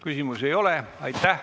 Küsimusi ei ole.